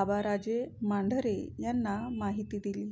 आबाराजे मांढरे यांना माहिती दिली